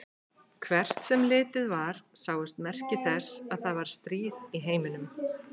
Hvert sem litið var sáust merki þess að það var stríð í heiminum.